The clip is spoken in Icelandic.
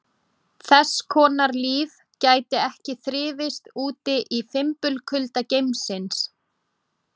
Þess konar líf gæti ekki þrifist úti í fimbulkulda geimsins.